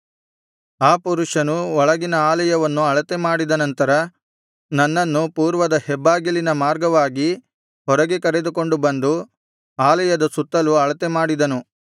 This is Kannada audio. ಆ ಪುರುಷನು ಒಳಗಿನ ಆಲಯವನ್ನು ಅಳತೆ ಮಾಡಿದ ನಂತರ ನನ್ನನ್ನು ಪೂರ್ವದ ಹೆಬ್ಬಾಗಿಲಿನ ಮಾರ್ಗವಾಗಿ ಹೊರಗೆ ಕರೆದುಕೊಂಡು ಬಂದು ಆಲಯದ ಸುತ್ತಲೂ ಅಳತೆ ಮಾಡಿದನು